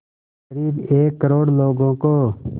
क़रीब एक करोड़ लोगों को